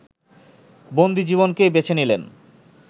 বন্দীজীবনকেই বেছে নিলেন